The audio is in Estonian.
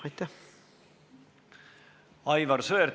Aivar Sõerd, palun!